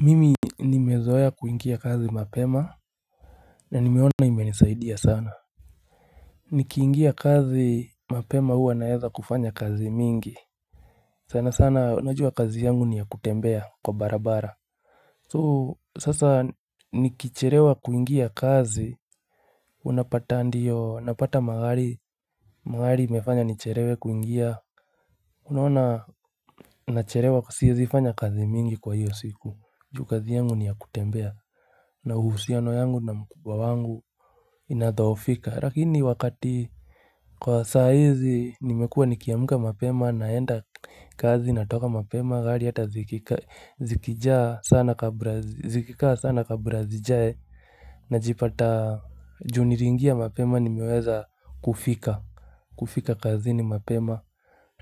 Mimi nimezoea kuingia kazi mapema na nimeona imenisaidia sana Nikiingia kazi mapema huwa naeza kufanya kazi mingi sana sana unajua kazi yangu ni ya kutembea kwa barabara sasa nikichelewa kuingia kazi Unapata ndio napata magari imefanya nichelewe kuingia. Unaona nachelewa siwezi fanya kazi mingi kwa hiyo siku juu kazi yangu ni ya kutembea na uhusiano yangu na mkubwa wangu Inadhoofika lakini kwa saa hizi nimekuwa nikiamka mapema naenda kazi natoka mapema Gari hata Zikikaa sana kabla zijae najipata juu nilingia mapema nimiweza kufika kufika kazi ni mapema